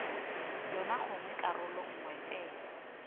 yona gongwe karolo nngwe fela